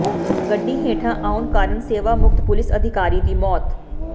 ਗੱਡੀ ਹੇਠਾਂ ਆਉਣ ਕਾਰਨ ਸੇਵਾ ਮੁਕਤ ਪੁਲਿਸ ਅਧਿਕਾਰੀ ਦੀ ਮੌਤ